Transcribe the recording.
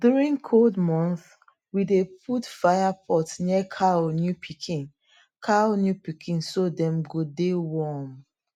during cold month we dey put fire pot near cow new pikin cow new pikin so dem go de warm